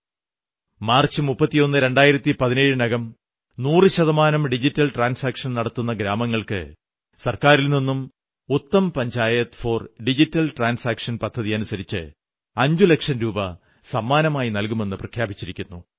31 March 2017 നകം100 ശതമാനം digital transaction നടത്തുന്ന ഗ്രാമങ്ങൾക്ക് സർക്കാരിൽനിന്ന് Uttam panchayat for digital transaction പദ്ധതിയനുസരിച്ച് 5 ലക്ഷം രൂപ സമ്മാനമായി നല്കുമെന്നു പ്രഖ്യാപിച്ചിരിക്കുന്നു